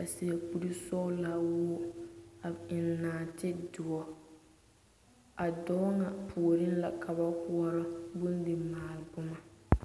a seɛ kuri sɔglaa wogi a eŋ naatedoɔ a dɔɔ ŋa puoriŋ la ka ba koɔrɔ bondimaale boma.